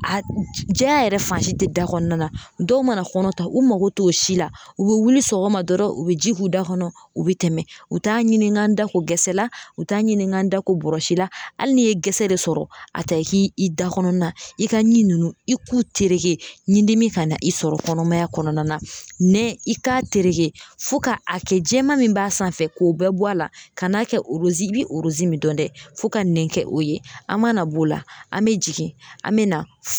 A jɛya yɛrɛ fan si tɛ da kɔnɔna na dɔw mana kɔnɔ ta u mago t'o si la u bɛ wuli sɔgɔma dɔrɔn u bɛ ji k'u da kɔnɔ u bɛ tɛmɛ u t'a ɲini n ka n da ko gɛsɛla u t'a ɲini n ka n da ko bɔrɔsi la hali n'i ye gɛsɛ de sɔrɔ a ta i k'i i da kɔnɔna i ka ɲi ninnu i k'u tereke ni dimi kana i sɔrɔ kɔnɔmaya kɔnɔna na nɛn i k'a tereke fo ka a kɛ jɛman min b'a sanfɛ k'o bɛɛ bɔ a la ka n'a kɛ i bɛ min dɔn dɛ fo ka nɛn kɛ o ye an mana b'o la an bɛ jigin an bɛ na